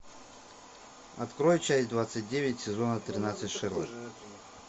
открой часть двадцать девять сезона тринадцать шерлок